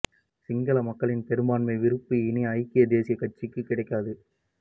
சிங்கள மக்களின் பெரும்பான்மை விருப்பு இனி ஐக்கிய தேசிய கட்சிக்கு கிடைக்காது